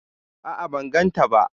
A'a ban gan ta ba